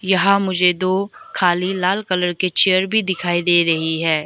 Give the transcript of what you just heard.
यहां मुझे दो खाली लाल कलर के चेयर भी दिखाई दे रही है।